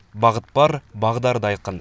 бағыт бар бағдар да айқын